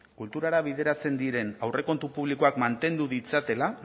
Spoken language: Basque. kulturara bideratzen diren aurrekontu publikoak mantendu ditzatela